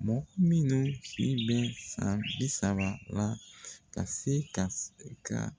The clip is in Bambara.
Mɔgɔ minnu min si bɛ san bi saba la ka se ka